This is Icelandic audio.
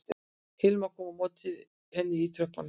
Hilma kom á móti henni í tröppunum